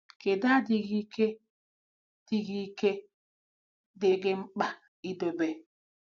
Kedu adịghị ike dị gị ike dị gị mkpa idobe?